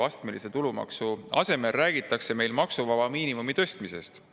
"Astmelise tulumaksu asemel räägitakse meil maksuvaba miinimumi tõstmisest.